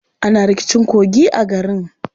Ana rikicin kogi a garin.